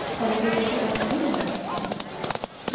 ঘরের ডিসাইন টা দেখানোই হইয়াছে এখানে ।